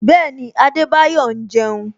Bẹẹni, Adebayo ń jeun